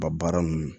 Ba baara ninnu